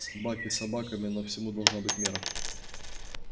собаки собаками но всему должна быть мера